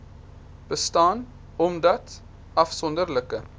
bestaan omdat afsonderlike